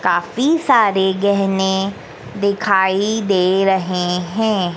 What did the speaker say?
काफी सारे गहने दिखाई दे रहे हैं।